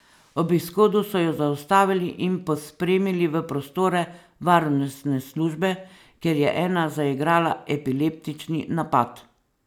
Ob izhodu so ju zaustavili in pospremili v prostore varnostne službe, kjer je ena zaigrala epileptični napad.